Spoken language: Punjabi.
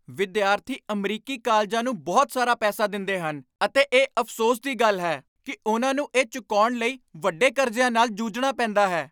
ਵਿਦਿਆਰਥੀ ਅਮਰੀਕੀ ਕਾਲਜਾਂ ਨੂੰ ਬਹੁਤ ਸਾਰਾ ਪੈਸਾ ਦਿੰਦੇ ਹਨ ਅਤੇ ਇਹ ਅਫ਼ਸੋਸ ਦੀ ਗੱਲ ਹੈ ਕਿ ਉਨ੍ਹਾਂ ਨੂੰ ਇਹ ਚੁਕਾਉਣ ਲਈ ਵੱਡੇ ਕਰਜ਼ਿਆਂ ਨਾਲ ਜੂਝਣਾ ਪੈਂਦਾ ਹੈ।